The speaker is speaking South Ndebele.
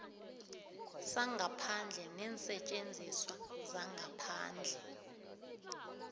sangaphandle neensetjenziswa zangaphandle